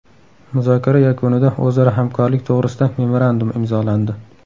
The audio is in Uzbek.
Muzokara yakunida o‘zaro hamkorlik to‘g‘risida memorandum imzolandi.